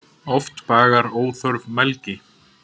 Oft bagar óþörf mælgi.